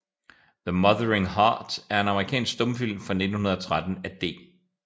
The Mothering Heart er en amerikansk stumfilm fra 1913 af D